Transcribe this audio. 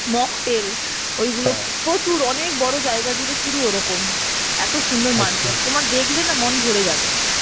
mocktail ওই প্রচুর অনেক বড় জায়গা জুড়ে শুধু ওরকম, এত সুন্দর তোমায় দেখলে না মন ভরে যাবে